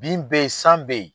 Bin bɛ ye san bɛ ye.